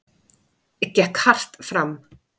Gekk hart fram.